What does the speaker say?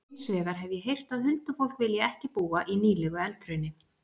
Hins vegar hef ég heyrt að huldufólk vilji ekki búa í nýlegu eldhrauni.